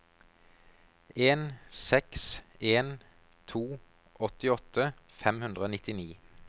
en seks en to åttiåtte fem hundre og nittini